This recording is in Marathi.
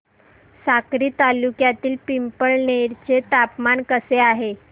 साक्री तालुक्यातील पिंपळनेर चे तापमान कसे आहे